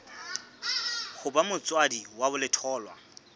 ho ba motswadi wa letholwa